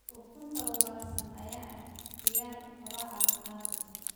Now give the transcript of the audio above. Ukunta ugaarsan ayaa ah ikhtiyaar quraac caafimaad leh.